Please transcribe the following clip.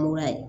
Muru la yen